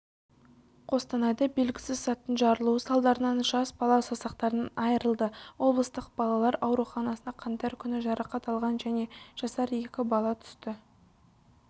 қостанайда белгісіз заттың жарылуы салдарынан жас бала саусақтарынан айырылды облыстық балалар ауруханасына қаңтар күні жарақат алған және жасар екі бала түсті